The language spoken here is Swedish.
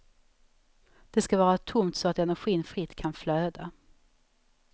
Det ska vara tomt så att energin fritt kan flöda.